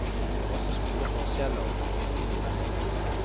Det er også store forskjeller fylkene imellom.